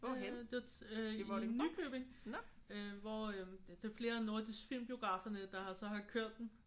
Øh det var til i Nykøbing øh hvor det er flere af Nordisk Film biograferne der har så har kørt den